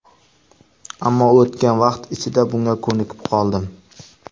Ammo o‘tgan vaqt ichida bunga ko‘nikib qoldim.